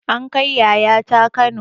An kai yayata kano